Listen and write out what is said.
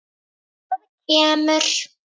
Það kemur.